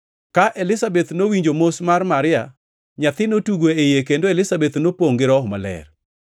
Ka Elizabeth nowinjo mos mar Maria nyathi notugo e iye kendo Elizabeth nopongʼ gi Roho Maler.